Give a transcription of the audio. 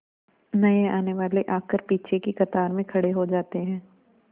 नए आने वाले आकर पीछे की कतार में खड़े हो जाते हैं